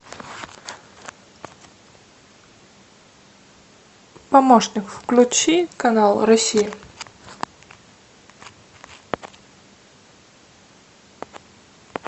помощник включи канал россия